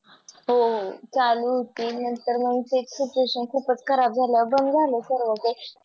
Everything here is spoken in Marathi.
हो हो चालूं होती नंतर मग Situation खुपच खराब झाल्यावर बंद झालं सर्व ते